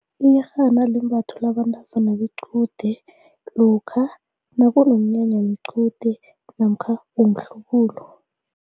Iyerhana limbathwa yabantazana bequde lokha nakunomnyanya wequde namkha womhlubulo.